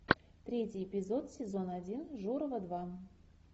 третий эпизод сезона один журова два